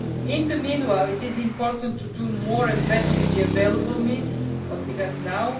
In the meantime, it is important to do more and better with the available means, with what we have now.